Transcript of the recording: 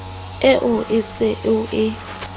eo o se o e